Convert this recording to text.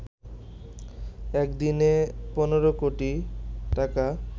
একদিনে ১৫ কোটি টাকা